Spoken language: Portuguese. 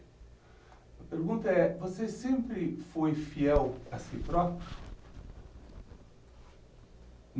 A pergunta é, você sempre foi fiel a si próprio?